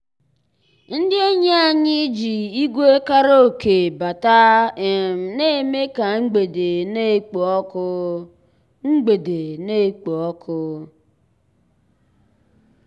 ndị́ ényí ànyị́ jì ígwè kàràókè batàrà um ná-èmè ká mgbedé ná-èkpò ọ́kụ́. mgbedé ná-èkpò ọ́kụ́.